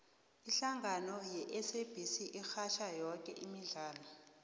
ihlangano yesabc irhatjha yoke imidlalo